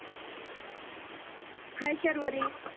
हाय Sharvari